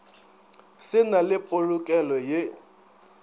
se na le polokelo ye